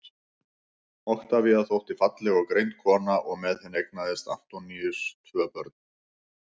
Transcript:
oktavía þótti falleg og greind kona og með henni eignaðist antoníus tvö börn